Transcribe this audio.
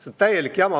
See on täielik jama.